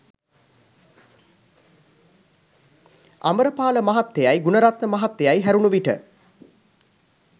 අමරපාල මහත්තයයි ගුණරත්න මහත්තයයි හැරුණු විට